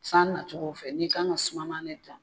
San nacogo fɛ i ka kan ka suma ma el da